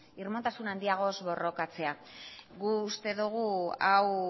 irmotasun handiagoz borrokatzea guk uste dugu hau